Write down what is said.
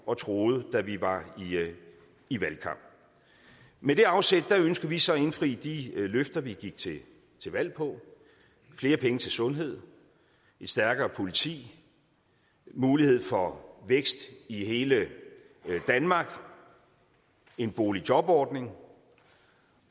og troede da vi var i valgkamp med det afsæt ønsker vi så at indfri de løfter vi gik til valg på flere penge til sundhed et stærkere politi mulighed for vækst i hele danmark og en boligjobordning